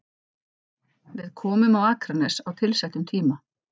Við komum á Akranes á tilsettum tíma.